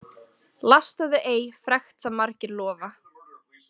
Lastaðu ei frekt það margir lofa.